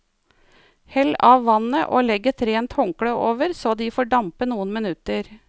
Hell av vannet og legg et rent håndkle over så de får dampe noen minutter.